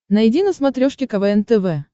найди на смотрешке квн тв